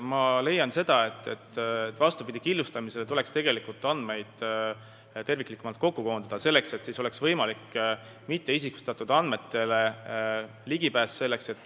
Ma leian, et vastupidi killustamisele tuleks andmeid terviklikumalt kokku koondada, et oleks võimalik ligipääs mitteisikustatud andmetele.